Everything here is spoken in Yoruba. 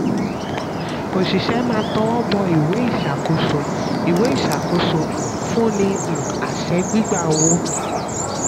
òṣìṣẹ́ máa tọwọ́ bọ ìwé ìṣàkóso ìwé ìṣàkóso um fún ní um àṣẹ gba owó. um